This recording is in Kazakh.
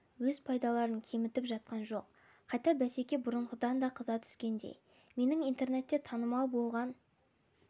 өз пайдаларын кемітіп жатқан жоқ қайта бәсеке бұрынғыдан да қыза түскендей менің интернетте танымал болған